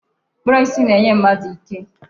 Mkpụrụ osisi na-enye mmadụ ike.